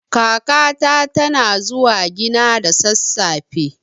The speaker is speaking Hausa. Kakata tana zuwa gina da sassafe.